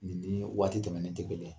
Nin ni waati tɛmɛnen tɛ kelen ye.